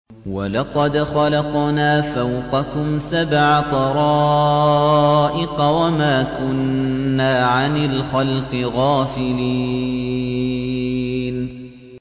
وَلَقَدْ خَلَقْنَا فَوْقَكُمْ سَبْعَ طَرَائِقَ وَمَا كُنَّا عَنِ الْخَلْقِ غَافِلِينَ